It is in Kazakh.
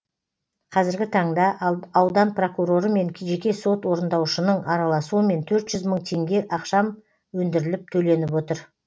қазіргі таңда аудан прокуроры мен жеке сот орындаушының араласуымен төрт жүз мың теңге ақшам өндіріліп төленіп отыр